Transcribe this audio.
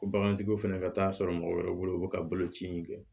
Ko bagantigiw fɛnɛ ka taa sɔrɔ mɔgɔ wɛrɛ bolo u bɛ ka boloci in kɛ